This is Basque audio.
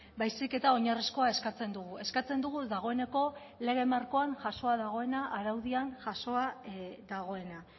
baizik eta oinarrizkoa eskatzen dugu eskatzen dugu dagoeneko lege markoan jasoa dagoena araudian jasoa dagoena